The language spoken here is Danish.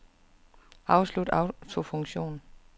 Afslut autofunktion.